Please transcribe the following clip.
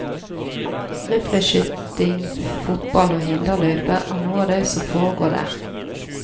Rifleskyting, fotball og hinderløype er noe av det som foregår der.